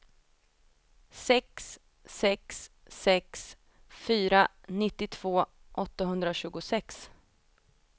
sex sex sex fyra nittiotvå åttahundratjugosex